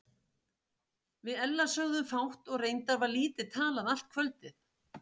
Við Ella sögðum fátt og reyndar var lítið talað allt kvöldið.